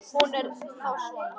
Hún er þá svona!